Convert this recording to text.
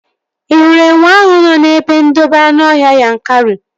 Ị hụrụ enwe ahụ nọ n'ebe ndobe anụọhịa Yankari?